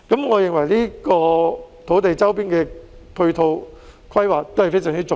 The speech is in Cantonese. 我認為這些土地周邊的配套規劃非常重要。